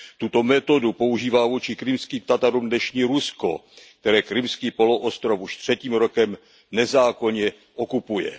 Tuto metodu používá vůči Krymským Tatarům dnešní Rusko, které Krymský poloostrov už třetím rokem nezákonně okupuje.